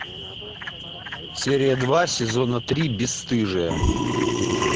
серия два сезона три бесстыжие